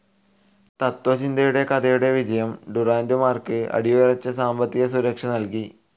തത്ത്വചിന്തയുടെ കഥയുടെ വിജയം ഡുറാന്റുമാർക്ക് അടിയുറച്ച സാമ്പത്തിക സുരക്ഷ നൽകി.